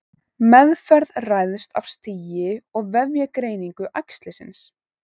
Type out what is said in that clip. Meðferð ræðst af stigi og vefjagreiningu æxlisins.